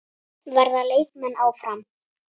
Verða leikmenn áfram?